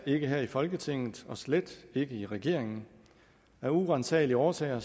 ikke her i folketinget og slet ikke i regeringen af uransagelige årsager